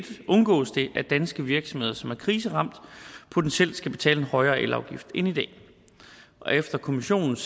undgås det at danske virksomheder som er kriseramte potentielt skal betale en højere elafgift end i dag og efter kommissionens